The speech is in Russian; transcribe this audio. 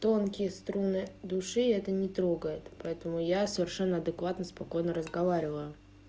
тонкие струны души это не трогает поэтому я совершенно адекватно спокойно разговариваю